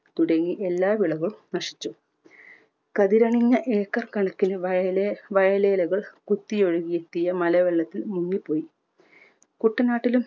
തുടങ്ങി എല്ലാ വിളകളും നശിച്ചു. കതിരണിഞ്ഞ ഏക്കർ കണക്കിന് വയലെ വയലേലകൾ കുത്തിയൊഴുകിയെത്തിയ മലവെള്ളത്തിൽ മുങ്ങിപ്പോയി. കുട്ടനാട്ടിലും